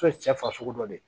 cɛ farisogo dɔ de ye